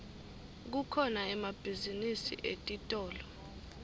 kukhona emabhizinisi etitolo